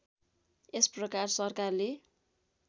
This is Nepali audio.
यस प्रकार सरकारले